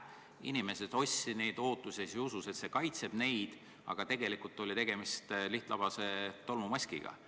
Inimesed ostsid neid ootuses ja usus, et see mask kaitseb neid, aga tegelikult oli tegemist lihtlabase tolmumaskiga.